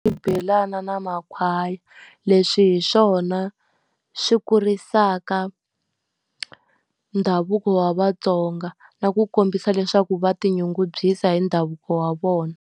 Xibelana na makhwaya. Leswi hi swona swi kurisaka ndhavuko wa vaTsonga, na ku kombisa leswaku va tinyungubyisa hi ndhavuko wa vona.